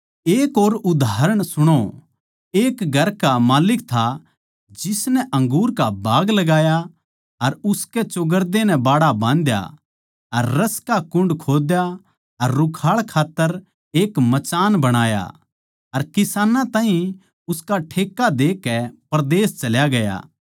एक और उदाहरण सुणो एक घर का माल्लिक था जिसनै अंगूर का बाग लगाया अर उसकै चौगरदे नै बाड़ा बाँधया अर रस का कुण्ड खोद्या अर रुखाळ खात्तर एक मचान बणाया अर किसानां ताहीं उसका ठेक्का देकै परदेस चल्या गया